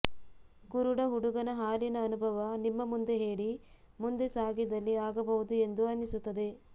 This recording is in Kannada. ಕುರುಡು ಹುಡುಗನ ಹಾಲಿನ ಅನುಭವ ನಿಮ್ಮ ಮುಂದೆ ಹೇಳಿ ಮುಂದೆ ಸಾಗಿದಲ್ಲಿ ಆಗಬಹುದು ಎಂದು ಅನ್ನಿಸುತ್ತಿದೆ